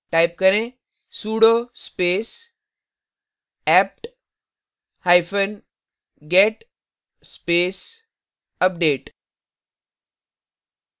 type करें sudo space apt hyphen get space update